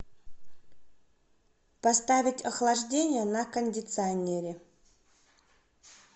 поставить охлаждение на кондиционере